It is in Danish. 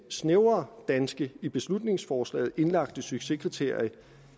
snævre danske i beslutningsforslagets indlagte succeskriterium